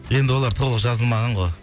енді олар толық жазылмаған ғой